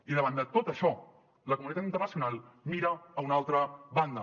i davant de tot això la comunitat internacional mira a una altra banda